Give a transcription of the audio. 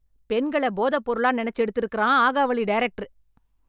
பெண்களப் போதப் பொருளா நினைச்சு எடுத்து இருக்கறான் ஆகாவளி டைரக்டரு